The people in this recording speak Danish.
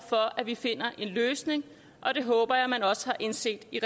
for at vi finder en løsning og det håber jeg man også har indset i